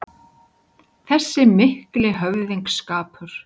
Þessi mikli höfðingsskapur